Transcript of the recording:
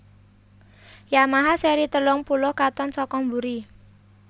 Yamaha seri telung puluh katon saka buri